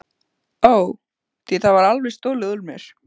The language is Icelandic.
Ó, því var alveg stolið úr mér.